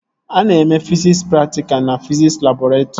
Ana eme fiziks praktikalụ na fiziks labọretrị